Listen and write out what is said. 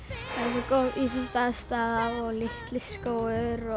svo góð íþróttaaðstaða og litli skógur